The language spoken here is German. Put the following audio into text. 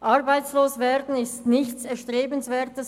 Arbeitslos werden ist nichts Erstrebenswertes.